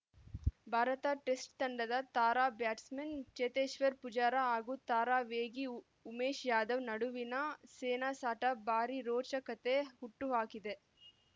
Bharat test ತಂಡದ ತಾರಾ batsman Cheteshwar Pujara ಹಾಗೂ ತಾರಾ ವೇಗಿ ಉಮೇಶ್‌ ಯಾದವ್‌ ನಡುವಿನ ಸೆಣಸಾಟ ಭಾರೀ ರೋಚಕತೆ ಹುಟ್ಟುಹಾಕಿದೆ